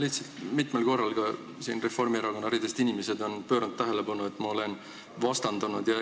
Lihtsalt ütlen, et mitmel korral on ka inimesed Reformierakonna ridadest juhtinud tähelepanu, et ma olen vastandanud.